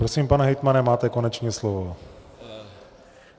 Prosím, pane hejtmane, máte konečně slovo.